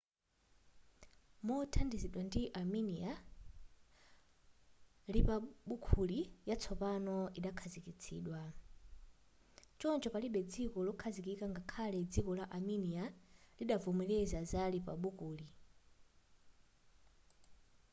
mothandizidwa ndi armenia lipabuliki yatsopano idakhazikitsidwa choncho palibe dziko lokhazikika ngakhale dziko la armenia-lidavomereza za lipabuliki